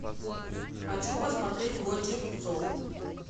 хочу посмотреть гончих псов